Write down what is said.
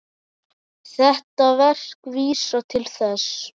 Þetta verk vísar til þess.